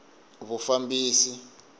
vufambisi